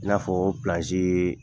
I n'a fɔ o